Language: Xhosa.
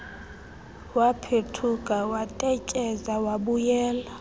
waphethuka watetyeza wabuyela